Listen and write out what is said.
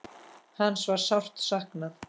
Hans var sárt saknað.